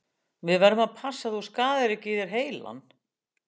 Við verðum að passa að þú skaðir ekki í þér heilann.